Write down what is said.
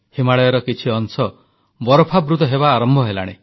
ହିମାଳୟର କିଛି ଅଂଶ ବରଫାବୃତ ହେବା ଆରମ୍ଭ ହେଲାଣି